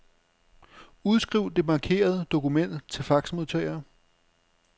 Udskriv det markerede dokument til faxmodtager.